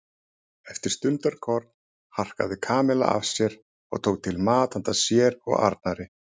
Eftir stundarkorn harkaði Kamilla af sér og tók til mat handa sér og Arnari.